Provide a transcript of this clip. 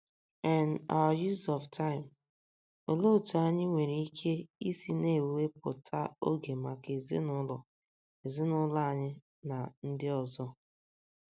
n our use of time? Olee otú anyị nwere ike isi na - ewepụta oge maka ezinụlọ ezinụlọ anyị na ndị ọzọ?